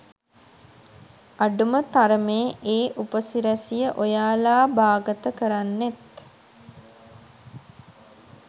අඩුම තරමේ ඒ උපසිරැසිය ඔයාලා බාගත කරන්නෙත්